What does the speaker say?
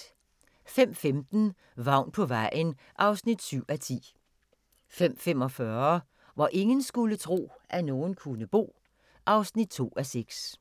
05:15: Vagn på vejen (7:10) 05:45: Hvor ingen skulle tro, at nogen kunne bo (2:6)